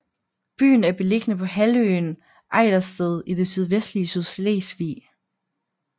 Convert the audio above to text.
Byen er beliggende på halvøen Ejdersted i det sydvestlige Sydslesvig